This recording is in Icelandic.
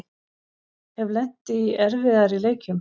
Hef lent í erfiðari leikjum